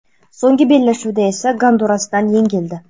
So‘nggi bellashuvda esa Gondurasdan yengildi.